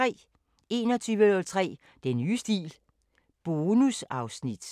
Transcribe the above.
21:03: Den nye stil – bonusafsnit!